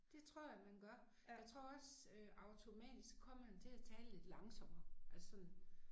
Det tror jeg man gør jeg tror også øh automatisk kommer man til at tale lidt langsommere altså sådan